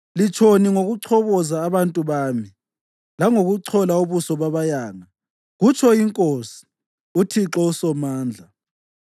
Litshoni ngokuchoboza abantu bami langokuchola ubuso babayanga?” kutsho iNkosi, uThixo uSomandla.